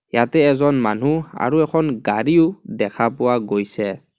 ইয়াতে এজন মানুহ আৰু এখন গাড়ীও দেখা পোৱা গৈছে.